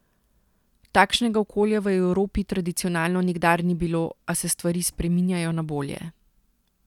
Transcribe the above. Takšnega okolja v Evropi tradicionalno nikdar ni bilo, a se stvari spreminjajo na bolje.